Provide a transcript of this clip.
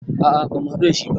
A a ba mu haɗu dashi ba